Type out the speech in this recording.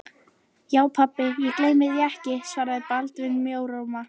Já, pabbi, ég gleymi því ekki, svaraði Baldvin mjóróma.